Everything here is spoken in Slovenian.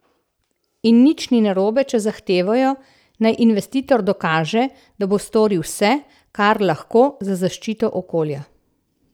In nič ni narobe, če zahtevajo, naj investitor dokaže, da bo storil vse, kar lahko, za zaščito okolja.